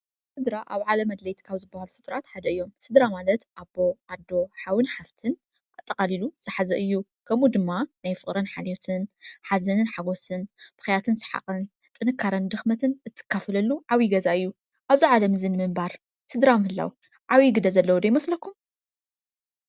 ሥድራ ኣብ ዓለ አድለይት ካብ ዝበሃል ፍጥራት ሓደ እዮም። ሥድራ ማለት ኣቦ ፣ኣዶ ፣ሓውን ፣ሓፍትን ፣ኣጠቓሊሉ ዝሕዚ እዩ ከሙኡ ድማ ናይ ፍቕረን ኃሊዮትን ሓዘንን ሓጐስን ብኸያትን ሰሓቕን ጥንካረን ድኽመትን እትካፍለሉ ዓው ገዛእዩ ኣብዙ ዓለምዝን ምእምባር ትድራምኣለው ዓዊ ግደ ዘለዉዶ ኣይመስለኩም?